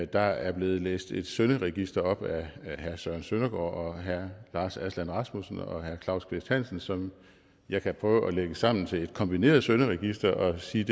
der er blevet læst et synderegister op af herre søren søndergaard og herre lars aslan rasmussen og herre claus kvist hansen som jeg kan prøve at lægge sammen til et kombineret synderegister og sige